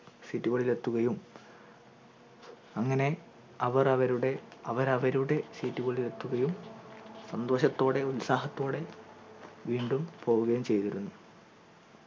seat കളിൽ എത്തുകയും അങ്ങനെ അവർ അവരുടെ അവർ അവരുടെ seat കളിൾ എത്തുകയും സന്തോഷത്തോടെ ഉത്സാഹത്തോടെ വീണ്ടും പോവുകയും ചെയ്തിരുന്നു